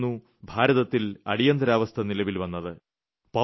അന്നായിരുന്നു ഭാരതത്തിൽ അടയന്തിരാവസ്ഥ നിലവിൽ വന്നത്